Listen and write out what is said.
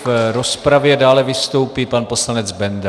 V rozpravě dále vystoupí pan poslanec Benda.